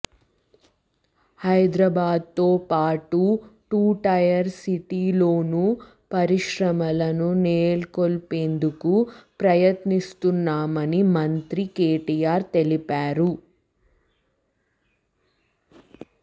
హైదరాబాద్తో పాటు టూటైర్ సిటీల్లోనూ పరిశ్రమలను నెలకొల్పేందుకు ప్రయత్నిస్తున్నామని మంత్రి కెటిఆర్ తెలిపారు